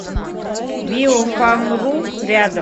биофамру рядом